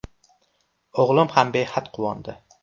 O‘g‘lim ham behad quvondi.